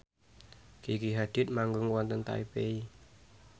Gigi Hadid manggung wonten Taipei